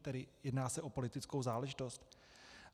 Tedy jedná se o politickou záležitost?